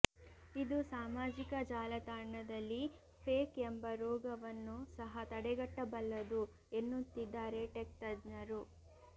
ಇದು ಸಾಮಾಜಿಕ ಜಾಲತಾಣದಲ್ಲಿ ಫೇಕ್ ಎಂಬ ರೋಗವನ್ನು ಸಹ ತಡೆಗಟ್ಟಬಲ್ಲದು ಎನ್ನುತ್ತಿದ್ದಾರೆ ಟೆಕ್ ತಜ್ಞರು